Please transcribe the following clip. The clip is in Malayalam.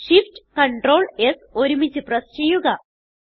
shiftctrls ഒരുമിച്ച് പ്രസ് ചെയ്യുക